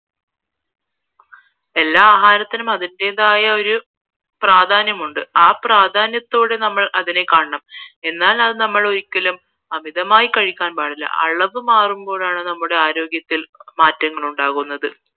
എല്ലാ ആഹാരത്തിനും അതിന്റേതായ പ്രാധാന്യമുണ്ട് ആ പ്രാധാന്യത്തോടെ നമ്മൾ അതിനെ കാണണം എന്നാൽ നമ്മളത് അമിതമായി കഴിക്കാൻ പാടില്ല അളവ് മാരുമ്പോഴാണ് നമ്മുടെ ആരോഗ്യത്തിൽ മാറ്റങ്ങളുണ്ടാകുന്നത്